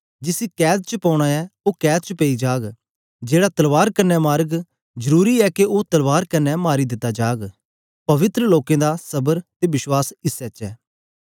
जिसी कैद च पौना ऐ ओ कैद च पेई जाग जेड़ा तलवार कन्ने मारग जरुरी ऐ के ओ तलवार कन्ने मारी दिता जाग पवित्र लोकें दा सबर ते बश्वास इसै च ऐ